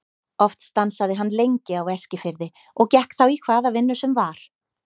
Oft stansaði hann lengi á Eskifirði og gekk þá í hvaða vinnu sem var.